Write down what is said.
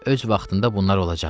Öz vaxtında bunlar olacaqdı.